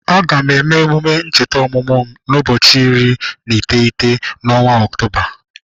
Aga m eme-emume ncheta ọmụmụ m n'ụbọchị iri na iteghete n'ọnwa octoba.